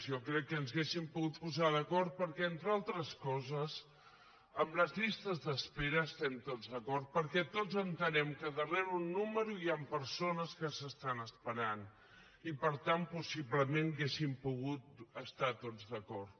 jo crec que ens hauríem pogut posar d’acord perquè entre altres coses amb les llistes d’espera estem tots d’acord perquè tots entenem que darrera un número hi han persones que s’estan esperant i per tant possiblement hauríem pogut estar tots d’acord